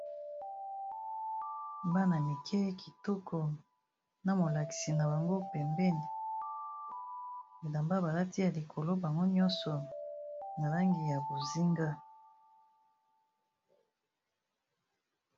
bana mike kitoko na molakisi na bango pembeni bilamba balati ya likolo bango nyonso na langi ya bozinga